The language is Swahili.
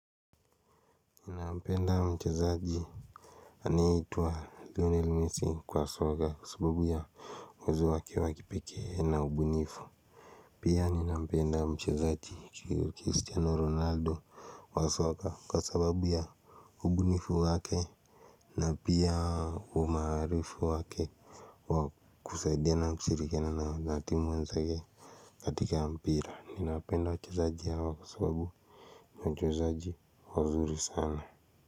Nampenda mchezaji aneyeitwa Lionel Messi kwa soka kwa sababu ya uwezo wake wa kipekee na ubunifu. Pia ni nampenda mchezaji Cristiano Ronaldo wa soka kwa sababu ya ubunifu wake. Na pia umaarufu wake wa kusaidiana kushirikiana na wanatimu wenzake. Katika mpira ninawapenda wachezaji hawa kwa sababu ni wachezaji wazuri sana.